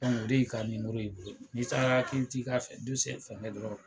o de y'i ka ye. N'i taara k'i bi t'i ka fɛngɛ dɔrɔn